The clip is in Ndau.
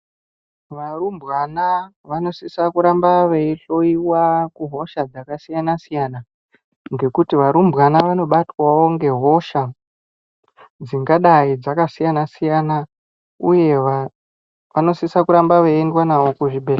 Varumbwana vanosisa kuramba veihloiwa kuhosha dzakasiyana-siyana. Ngekuti varumbwana vanobetwavo ngehosha dzingadai dzakasiyana-siyana, uye vantu vanosisa kuramba vaindotariswa kuzvibhedhlera.